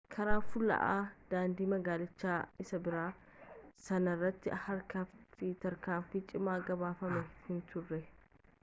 karaa fulla'aa daandii magaalichaa isa biraa sanarratti harkifati tiraafikaa cimaan gabaafame hinturre